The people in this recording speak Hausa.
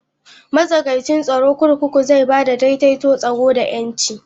Matsakaicin tsaro kurkuku zai ba da daidaito tsaro da 'yanci.